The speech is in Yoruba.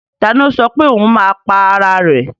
Ta ni ó sọ pé ohun máa pa ara rẹ̀?